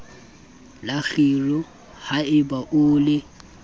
la kgiro haeba o le